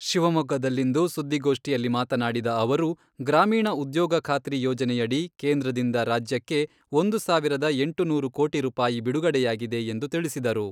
ಶಿವಮೊಗ್ಗದಲ್ಲಿಂದು ಸುದ್ದಿಗೋಷ್ಠಿಯಲ್ಲಿ ಮಾತನಾಡಿದ ಅವರು, ಗ್ರಾಮೀಣ ಉದ್ಯೋಗ ಖಾತ್ರಿ ಯೋಜನೆಯಡಿ ಕೇಂದ್ರದಿಂದ ರಾಜ್ಯಕ್ಕೆ ಒಂದು ಸಾವಿರದ ಎಂಟುನೂರು ಕೋಟಿ ರೂಪಾಯಿ ಬಿಡುಗಡೆಯಾಗಿದೆ ಎಂದು ತಿಳಿಸಿದರು.